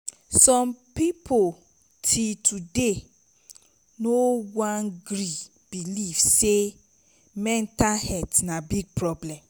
som pipo til today no wan gree belief say mental health na big wahala